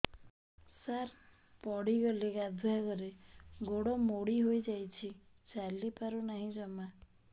ସାର ପଡ଼ିଗଲି ଗାଧୁଆଘରେ ଗୋଡ ମୋଡି ହେଇଯାଇଛି ଚାଲିପାରୁ ନାହିଁ ଜମା